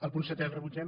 el punt setè el rebutgem